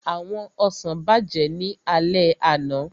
Àwọn ọsàn bàjẹ́ ní alẹ́ àná